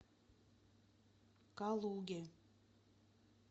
калуге